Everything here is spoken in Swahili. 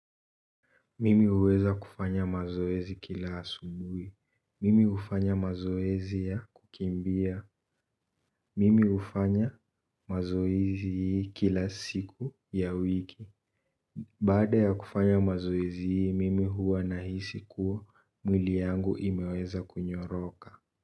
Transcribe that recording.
Mimi huweza kufanya mazoezi kila asubuhi. Mimi ufanya mazoezi ya kukimbia. Mimi hufanya mazoezi hii kila siku ya wiki. Baada ya kufanya mazoezi hii, mimi huwa nahisi kuwa mwili yangu imeweza kunyoroka.